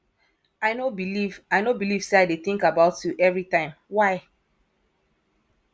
i no believe i no believe say i dey think about you every time why